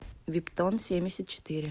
виптонсемьдесятчетыре